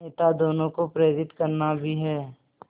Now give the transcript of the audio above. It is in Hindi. नेता दोनों को प्रेरित करना भी है